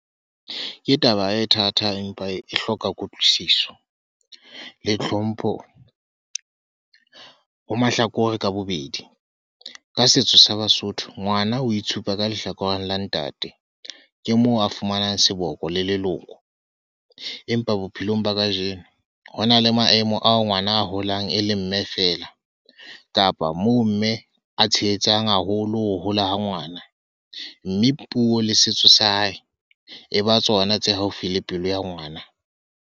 Ke taba e thata empa e hloka kutlwisiso, le tlhompho ho mahlakore ka bobedi. Ka setso sa Basotho, ngwana o itshupa ka lehlakoreng la ntate. Ke moo a fumanang seboko le leloko. Empa bophelong ba kajeno, ho na le maemo ao ngwana a holang e le mme fela. Kapa moo mme a tshehetsang haholo ho hola ha ngwana. Mme puo le setso sa hae, e ba tsona tse haufi le pelo ya ngwana.